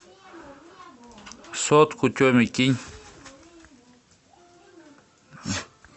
сотку теме кинь